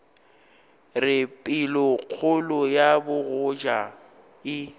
re pelokgolo ya bogoja e